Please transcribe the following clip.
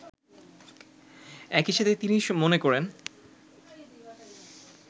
একইসাথে তিনি মনে করেন